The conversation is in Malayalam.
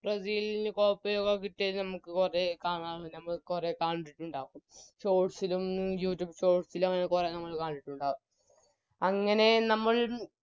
ബ്രസീലിന് Copa യൊക്കെ കിട്ടിയേ നമുക്ക് കൊറേ കാണാനും നമ്മള് കൊറേ കണ്ടിട്ടുണ്ടാവും Shorts ലും Youtube shorts ലും അങ്ങനെ കൊറേ നമ്മള് കണ്ടിട്ടുണ്ടാവും അങ്ങനെ നമ്മൾ